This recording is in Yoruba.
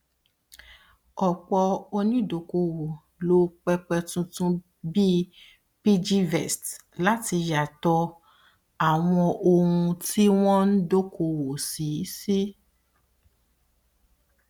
ọpọ onídokoowó lo pẹpẹ tuntun bíi piggyvest láti yàtọ àwọn ohun tí wọn dokoowó sí sí